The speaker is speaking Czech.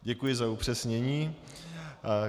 Děkuji za upřesnění.